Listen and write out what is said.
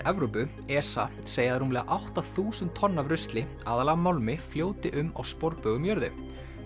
Evrópu ESA segja að rúmlega átta þúsund tonn af rusli aðallega málmi fljóti um á sporbaug um jörðu